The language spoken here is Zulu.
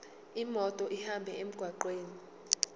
imoto ihambe emgwaqweni